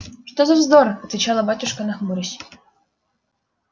что за вздор отвечала батюшка нахмурясь